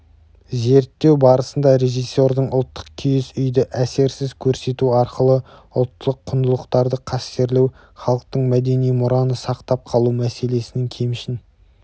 зерттеу барысында режиссердің ұлттық киіз үйді әсерсіз көрсету арқылы ұлттық құндылықтарды қастерлеу халықтық мәдени мұраны сақтап қалу мәселесінің кемшін